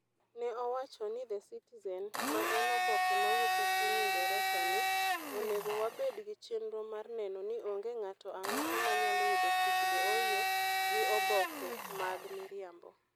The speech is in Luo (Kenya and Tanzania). Ne owacho ne The Citizen, ma en oboke mawuok e piny Ingresa ni, "Onego wabed gi chenro mar neno ni onge ng'ato ang'ata manyalo yudo tich Dohoiyo gi oboke mag miriambo.